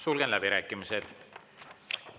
Sulgen läbirääkimised.